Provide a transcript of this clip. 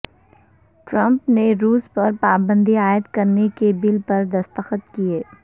Trump نے روس پر پابندی عائد کرنے کے بل پر دستخط کئے